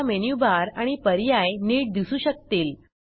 आता menu bar आणि पर्याय नीट दिसू शकतील